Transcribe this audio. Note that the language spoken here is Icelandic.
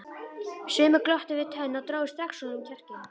Sumir glottu við tönn og drógu strax úr honum kjarkinn.